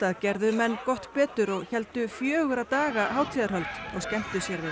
gerðu menn gott betur og héldu fjögurra daga hátíðarhöld og skemmtu sér við